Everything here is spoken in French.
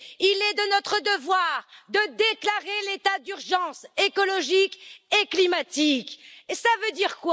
Il est de notre devoir de déclarer l'état d'urgence écologique et climatique. Qu'est ce que cela veut dire?